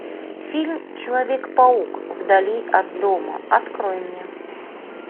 фильм человек паук вдали от дома открой мне